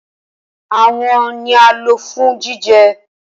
Awọn awo ni a lo fun jijẹ